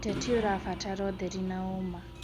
ũteti ũrabatara ũtheri na ũma.